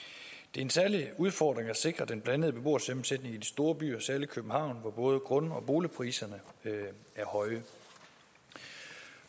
er en særlig udfordring at sikre den blandede beboersammensætning i de store byer særlig i københavn hvor både grund og boligpriserne er høje